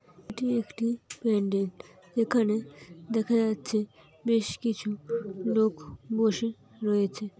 এটি একটি প্যান্ডেল যেখানে দেখা যাচ্ছে বেশ কিছু লোক বসে রয়েছে।